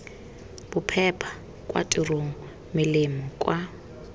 bophepa kwa tirong melemo kwa